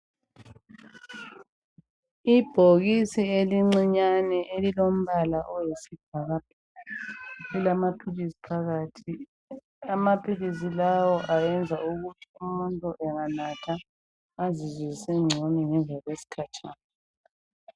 Ibhokisi elincinyane elilombala oyisbhakabhaka, lilamaphilisi phakathi. Amaphilisi lawa ayenza ukuthi umuntu enganatha azizwe esengcono ngemva kwesikhatshana.